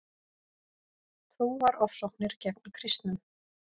Trúarofsóknir gegn kristnum